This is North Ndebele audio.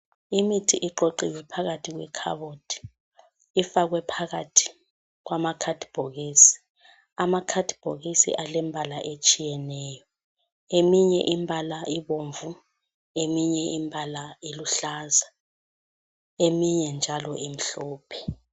Imithi iqoqiwe phakathi kwekhabothi. Ifakwe phakathi kwamakhadibhokisi. Amakhadibhokisi alembala etshiyeneyo. Eminye imbala ibomvu, eminye imbala iluhlaza, eminye njalo imhlophe.